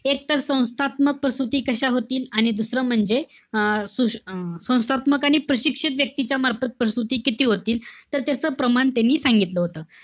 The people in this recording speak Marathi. एकत्र संस्थात्मक प्रसूती कशा होतील? आणि दुसरं म्हणजे, अं संस्थात्मक आणि प्रशिक्षित व्यक्तीच्या मार्फत प्रसूती किती होतील. तर त्याच प्रमाण त्यांनी सांगितलं होतं.